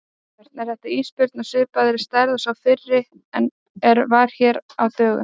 Björn: Er þetta ísbjörn á svipaðrar stærðar og sá fyrri er var hér á dögunum?